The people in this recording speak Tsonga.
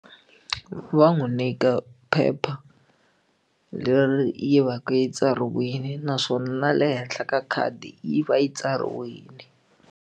Va n'wi nyika phepha leri yi va ka yi tsariwile naswona na le henhla ka khadi yi va yi tsariwile.